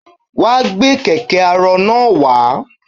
Wàá gbé kẹ̀kẹ́ arọ náà wá.